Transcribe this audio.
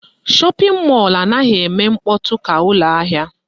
Shọpịn mọlụ anaghị eme mkpọtụ ka ụlọ ahịa